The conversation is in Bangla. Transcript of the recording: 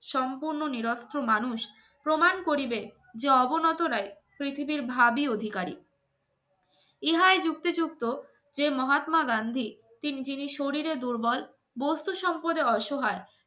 সম্পূর্ণ নিরস্ত্র মানুষ প্রমাণ করিবে যে অবনতাই পৃথিবীর ভাবি অধিকারী যুক্তিযুক্ত যে মহাত্মা গান্ধী তিন জিনিস শরীরে দুর্বল বস্তু সম্পদে অস